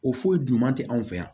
O foyi duman tɛ anw fɛ yan